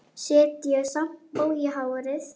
Setja sjampó í hárið?